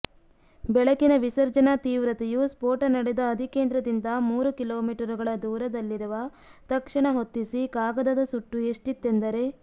ಬೆಳಕಿನ ವಿಸರ್ಜನಾ ತೀವ್ರತೆಯು ಸ್ಫೋಟ ನಡೆದ ಅಧಿಕೇಂದ್ರದಿಂದ ಮೂರು ಕಿಲೋಮೀಟರುಗಳ ದೂರದಲ್ಲಿರುವ ತಕ್ಷಣ ಹೊತ್ತಿಸಿ ಕಾಗದದ ಸುಟ್ಟು ಎಷ್ಟಿತ್ತೆಂದರೆ